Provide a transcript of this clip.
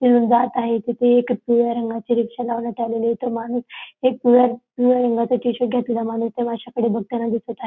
तिथून जात आहे तिथे एक पिवळ्या रंगाची रिक्षा लावण्यात आलेली आहे तो माणूस एक पिवळ्या पिवळ्या रंगाचा टीशर्ट घातलेला माणूस त्या माश्याकडे बघताना दिसत आ --